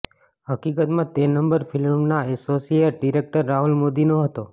હકીકતમાં તે નંબર ફિલ્મના એસોસિએટ ડિરેક્ટર રાહુલ મોદીનો હતો